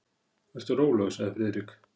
Vertu rólegur sagði Friðrik.